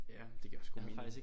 Ja det giver også god mening